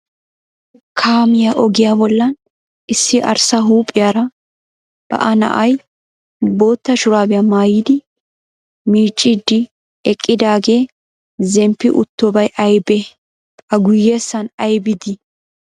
Kaamiya ogiya bollan issi arssa huuphiyaara ba'a na"ay bootta shuraabiya mayyidi miicciiddi eqqidaagee zemppi uttobay ayibee? A guyyessan ayibi dii?